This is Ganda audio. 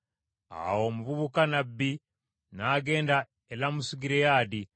Awo omuvubuka nnabbi n’agenda e Lamosugireyaadi.